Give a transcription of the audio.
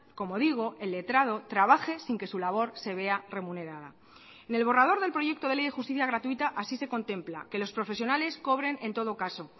como digo el letrado trabaje sin que su labor se vea remunerada en el borrador del proyecto de ley de justicia gratuita así se contempla que los profesionales cobren en todo caso